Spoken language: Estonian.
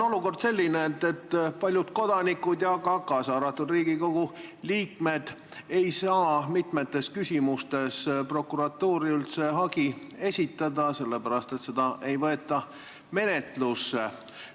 Olukord on selline, et paljud kodanikud, kaasa arvatud Riigikogu liikmed, ei saa mitmes küsimuses prokuratuuri üldse hagi esitada, sest seda ei võeta menetlusse.